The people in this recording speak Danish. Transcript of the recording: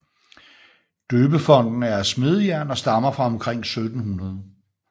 Døbefonten er af smedejern og stammer fra omkring 1700